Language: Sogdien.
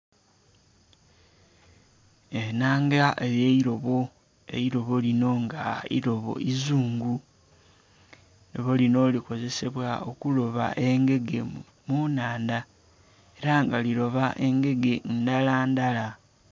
Ennanga ey'eirobo, eirobo lino nga irobo izungu eirobo linho likozesebwa okuloba engege mu nnhandha, era nga liloba engege ndala ndala.